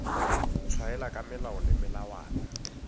tshwaela ka melao le melawana